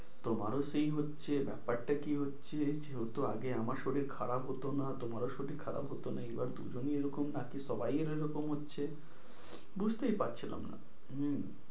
তোমারও সেই হচ্ছে, ব্যাপারটা কি হচ্ছে, যেহেতু আগে আমার শরীর খারাপ হতো না তোমারও শরীর খারাপ হতো না এবার দুজনেরই এরকম নাকি সবারই এরকম হচ্ছে বুঝতেই পারছিলাম না। হম